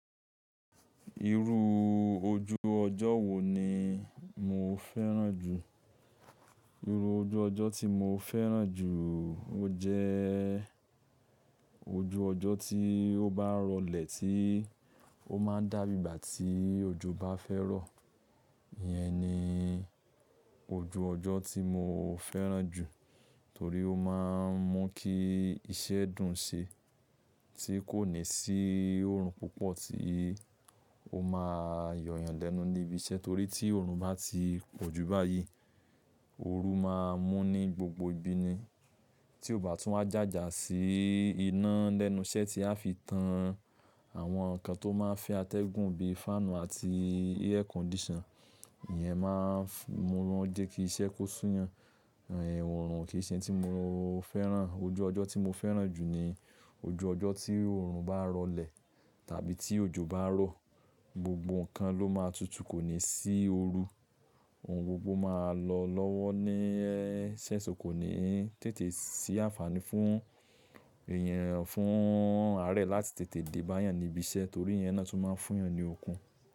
Irú ojú ọjọ́ wo ni mo fẹ́ràn jù? Irú ojú ọjọ́ tí mo fẹ́ràn jù ó jẹ́ ojú ọjọ́ tí ó bá ń rọlẹ̀ tí ó máa ń dá bí ìgbà tí òjò bá fẹ́ rọ̀. Iyẹn ni ojú ọjọ́ tí mo fẹ́ràn jù torí ó máa ń mú kí iṣẹ́ dùn ṣe tí kò ní sí oòrùn púpọ̀ tí ó máa yoyàn lẹ́nu níbi iṣẹ́. Torí tí oòrùn bá ti pọ̀ ju báyìí, ooru máa mú ní gbogbo ibi ni tí ó bá tún wá jàjà sí iná lẹ́nu iṣẹ́ tí a fi tan àwọn nǹkan tó máa ń fẹ́ atẹ́gùn bí i fáànù àti air condition. Iyẹn máa ń mú wọn jẹ́ kí iṣẹ́ kó súyan. Eh oòrùn kì í ṣe ohun tí mo fẹ́ràn. Ojú ọjọ́ tí mo fẹ́ràn jù ni ojú ọjọ́ tí oòrùn bá ń rọlẹ̀ tàbí tí òjò bá rọ̀. Gbogbo nǹkan ló máa tutù, kò ní sí ooru. Ohun gbogbo máa lọ lọ́wọ́ ní eṣẹ́, so kò ní tètè sí àǹfààní fún èèyàn, fún aare láti tètè dé bá yàn níbi iṣẹ́ torí iyẹn náà tún máa fún yàn ní okun.